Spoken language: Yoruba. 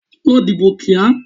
Lọ dìbò kíá!